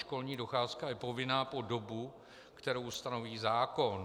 Školní docházka je povinná po dobu, kterou stanoví zákon.